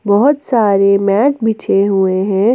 बहोत सारे मैट बिछे हुए हैं।